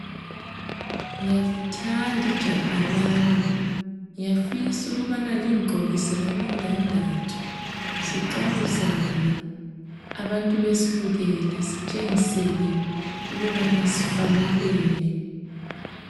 Ngiyalithanda ijaha lami, ngiyafisa ukubana lingigqokise lamindandatho. Siqabuzane abantu besibukele, sitshengisele ukubana sifanelene.